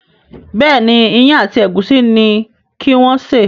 Béèni Iyán àti egusi ní kí wón ṣe.